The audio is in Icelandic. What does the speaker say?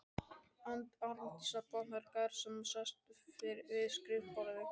Arndísar, botnar Garðar sem sest við skrifborðið.